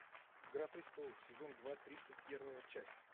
игра престолов сезон два тридцать первая часть